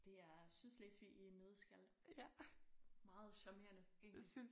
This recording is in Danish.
Det er Sydslesvig i en nøddeskal meget charmerende egentlig